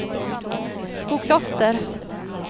Skokloster